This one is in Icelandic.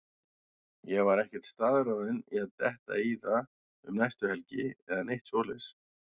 Ég var ekkert staðráðinn í að detta í það um næstu helgi eða neitt svoleiðis.